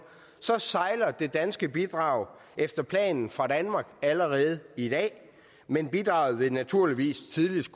sejler det danske bidrag efter planen fra danmark allerede i dag men bidraget vil naturligvis tidligst